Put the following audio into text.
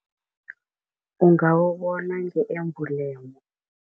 Ungawubona nge-amblem.